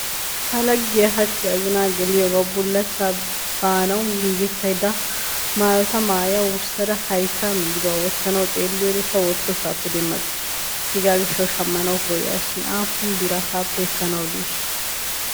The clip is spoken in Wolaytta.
Ta laggiya hachchi azinna gelliyogawu bulachcha baanawu giigettaydda mayotta maaya wurssada haytta migdduwaa wottanawu xeeliyodde ta wottossappe demmabeyikke hegaa gishshawu shamanawu koyaas shiin aappun biraa taappe ekkanawu diishsha?